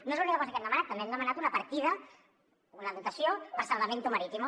no és l’única cosa que hem demanat també hem demanat una partida una dotació per a salvamento marítimo